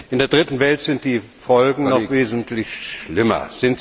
In der Dritten Welt sind die Folgen noch wesentlich schlimmer.